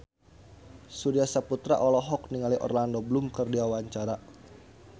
Surya Saputra olohok ningali Orlando Bloom keur diwawancara